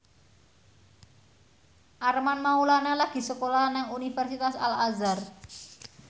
Armand Maulana lagi sekolah nang Universitas Al Azhar